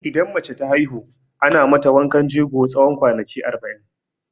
Idan mace ta haihu, ana mata wankan jego tsawon kwanaki arba'in.